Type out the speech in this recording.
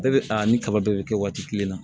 Bɛɛ bɛ a ni kaba bɛɛ bɛ kɛ waati kelen na